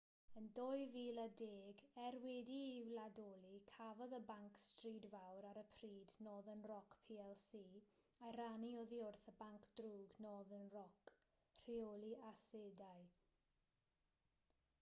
yn 2010 er wedi'i wladoli cafodd y banc stryd fawr ar y pryd northern rock plc ei rannu oddi wrth y banc drwg northern rock rheoli asedau